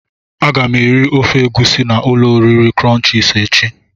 Aga m eri ofe egusi na ulo oriri crunches echi.